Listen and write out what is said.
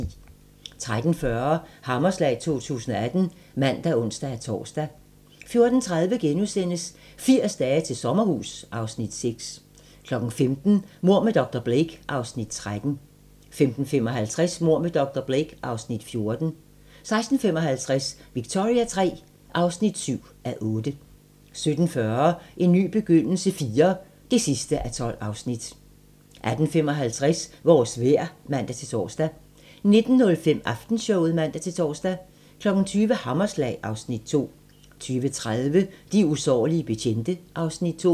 13:40: Hammerslag 2018 (man og ons-tor) 14:30: 80 dage til sommerhus (Afs. 6)* 15:00: Mord med dr. Blake (Afs. 13) 15:55: Mord med dr. Blake (Afs. 14) 16:55: Victoria III (7:8) 17:40: En ny begyndelse IV (12:12) 18:55: Vores vejr (man-tor) 19:05: Aftenshowet (man-tor) 20:00: Hammerslag (Afs. 2) 20:30: De usårlige betjente (Afs. 2)